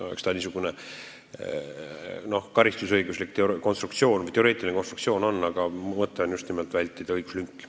Eks see niisugune karistusõiguslik või teoreetiline konstruktsioon on, aga mu mõte on just nimelt õiguslünki vältida.